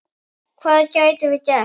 Hvað gætum við gert?